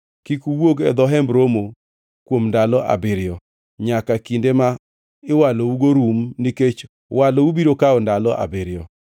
Kik uwuog e dho Hemb Romo kuom ndalo abiriyo, nyaka kinde ma iwalougo rum nikech walou biro kawo ndalo abiriyo.